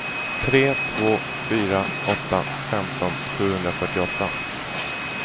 tre två fyra åtta femton sjuhundrafyrtioåtta